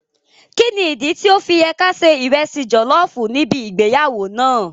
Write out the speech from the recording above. Kíni ìdí tí ọ́ fi yẹ ká ṣe ìresì jọ̀lọ́ọ̀fù níbi ìgbéyàwó náà?